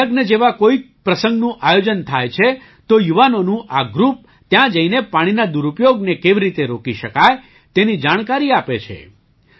ત્યાં લગ્ન જેવા કોઈ પ્રસંગનું આયોજન થાય છે તો યુવાનોનું આ ગ્રૂપ ત્યાં જઈને પાણીના દુરુપયોગને કેવી રીતે રોકી શકાય તેની જાણકારી આપે છે